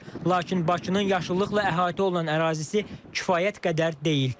Lakin Bakının yaşıllıqla əhatə olunan ərazisi kifayət qədər deyil.